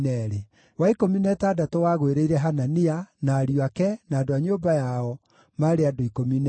wa ikũmi na ĩtandatũ wagũĩrĩire Hanania, na ariũ ake, na andũ a nyũmba yao, maarĩ andũ 12;